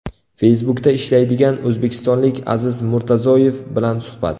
Facebook’da ishlaydigan o‘zbekistonlik Aziz Murtazoyev bilan suhbat .